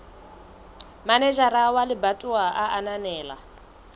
manejara wa lebatowa a ananela